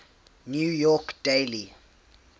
new york daily